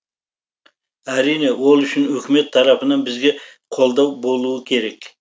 әрине ол үшін үкімет тарапынан бізге қолдау болуы керек